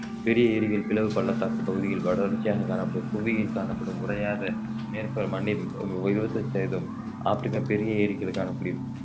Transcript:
பெரிய ஏரிகள் பிளவு பள்ளத்தாக்கு பகுதியில் தொடர்ச்சியாக காணப்படும் புவியில் காணப்படும் உறையாத மேற்பர~ மண்ணில் இருபத்தைந்து சதவீதம் ஆப்ரிக்கா பெரிய ஏரிகளுக்கான பிரிவு